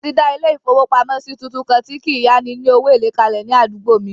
Wọ́n ti dà ilé-ìfowópamọ́sí tuntun kan tí kí n yá ni ní owó èlé kalẹ̀ ní àdúgbò mi